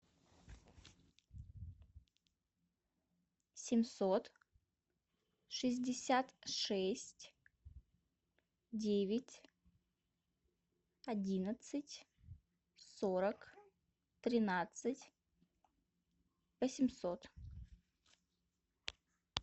семьсот шестьдесят шесть девять одиннадцать сорок тринадцать восемьсот